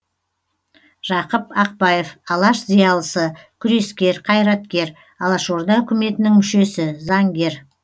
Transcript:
жақып ақбаев алаш зиялысы күрескер қайраткер алашорда үкіметінің мүшесі заңгер